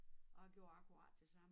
Og jeg gjorde akkurat det samme